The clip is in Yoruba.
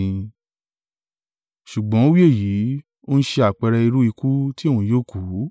Ṣùgbọ́n ó wí èyí, ó ń ṣe àpẹẹrẹ irú ikú tí òun yóò kú.